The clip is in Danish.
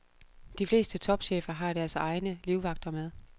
De fleste topchefer har deres egne livvagter med.